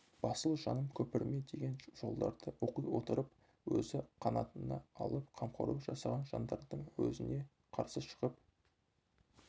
басыл жаным көпірме деген жолдарды оқи отырып өзі қанатына алып қамқорлық жасаған жандардың өзіне қарсы шығып